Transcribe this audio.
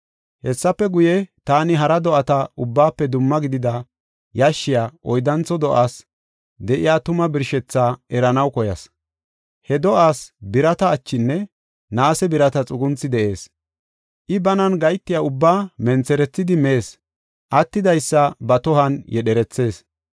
“Hessafe guye, taani hara do7ata ubbaafe dumma gidida yashshiya oyddantho do7aas de7iya tuma birshethaa eranaw koyas. He do7aas birata achinne naase birata xugunthi de7ees; I banan gahetiya ubbaa mentherethidi mees; attidaysa ba tohuwan yedherethees.